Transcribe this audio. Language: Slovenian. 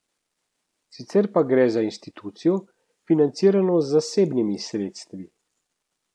Sicer pa gre za institucijo, financirano z zasebnimi sredstvi.